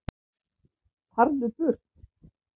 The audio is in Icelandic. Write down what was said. FARÐU BURT